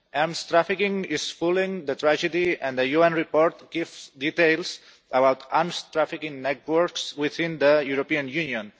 Arms trafficking is fuelling the tragedy, and the UN report gives details about arms trafficking networks within the European Union.